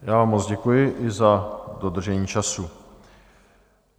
Já vám moc děkuji i za dodržení času.